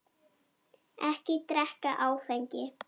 Ekki drekka áfengi.